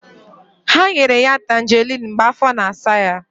Ha nyere ya Tanjeriin mgbe afọ na-asa ya.